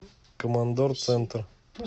командор центр